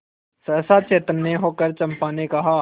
सहसा चैतन्य होकर चंपा ने कहा